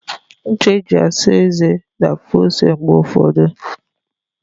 Ncha e ji asa eze na-afụ ose mgbe ụfọdụ.